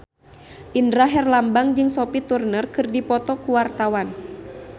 Indra Herlambang jeung Sophie Turner keur dipoto ku wartawan